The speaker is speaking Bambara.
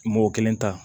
Mo kelen ta